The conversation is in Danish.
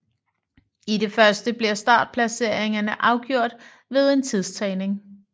I det første bliver startplaceringerne afgjort ved en tidstagning